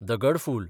दगड फूल